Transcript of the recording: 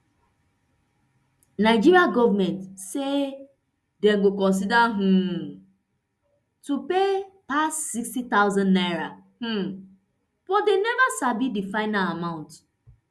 nigeria goment say dem go consider um to pay pass sixty thousand naira um but dem neva sabi di final amount